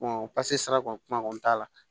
pase sara kɔni kuma kɔni t'a la